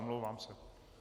Omlouvám se.